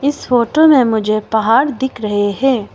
इस फोटो में मुझे पहाड़ दिख रहे हैं।